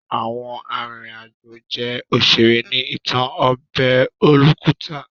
Àwọn arìnrìn àjò jẹ́ òṣèré ní ìtàn ọbẹ̀ olókùta.